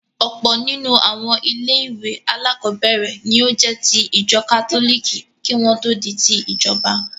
Ọ̀pọ̀ nínú àwọn ilé-ìwé alákọ̀ọ́bẹ̀ẹ̀rẹ̀ ní ó jẹ́ ti ìjọ kátólìkì kí wọ́n tó di ti ìjọba.